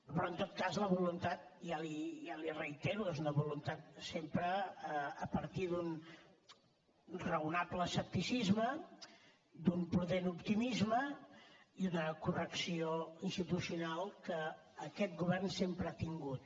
però en tot cas la voluntat ja li ho reitero és una voluntat sempre a partir d’un raonable escepticisme d’un prudent optimisme i una correcció institucional que aquest govern sempre ha tingut